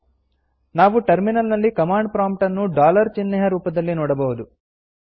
ನಾವು ಟರ್ಮಿನಲ್ ನಲ್ಲಿ command prompt ನ್ನು ಡಾಲರ್ ಚಿಹ್ನೆಯ ರೂಪದಲ್ಲಿ ನೋಡಬಹುದು